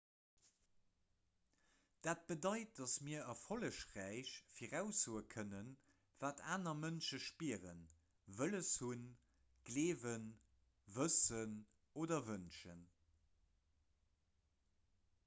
dat bedeit datt mir erfollegräich viraussoe kënnen wat aner mënsche spieren wëlles hunn gleewen wëssen oder wënschen